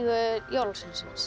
jólasveinsins